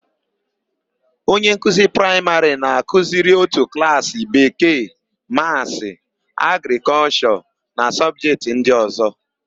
Onye nkuzi praịmarị na-akụziri ótù klaasị Bekee, Maasị, Agrịkọlshọ na sọbjetị ndị ọ̀zọ́.